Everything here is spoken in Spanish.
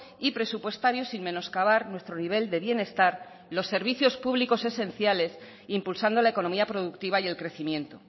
y presupuestario sin menoscabar nuestro nivel de bienestar los servicios públicos esenciales impulsando la economía productiva y el crecimiento